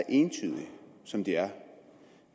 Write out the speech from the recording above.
entydige som de er